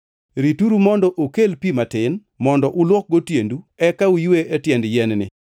Rituru mondo okel pi matin, mondo uluokgo tiendu eka uywe e tiend yien-ni.